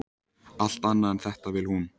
Allt annað en þetta vill hún.